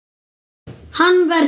Hann verður.